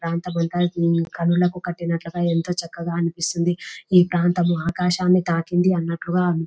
ఎంతో కన్నులకు కన్నట్లుగా ఎంతో చక్కగా అనిపిస్తుంది ఈ ప్రాంతం మొత్తం ఎంతో తాకినట్లుగా --